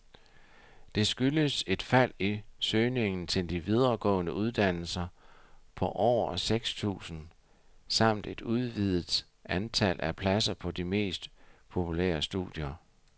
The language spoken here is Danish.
Det skyldes et fald i søgningen til de videregående uddannelser på over seks tusinde samt et udviddet antal af pladser på de mest populære studier.